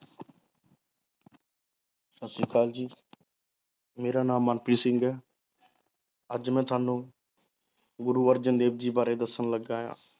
ਸਤਿ ਸ੍ਰੀ ਅਕਾਲ ਜੀ ਮੇਰਾ ਨਾਮ ਮਨਪ੍ਰੀਤ ਸਿੰਘ ਹੈ ਅੱਜ ਮੈ ਤੁਹਾਨੂੰ ਗੁਰੂ ਅਰਜਨ ਦੇਵ ਜੀ ਬਾਰੇ ਦੱਸਣ ਲੱਗਾਂ ਹਾਂ।